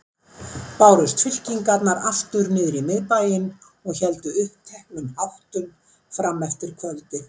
Bárust fylkingarnar aftur niðrí Miðbæinn og héldu uppteknum háttum frameftir kvöldi.